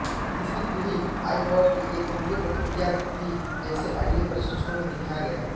तीसरी पीढ़ी आइपॉड की एक कमजोर प्रतिक्रिया थी जैसे ऑडियो परीक्षणों में दिखाया गया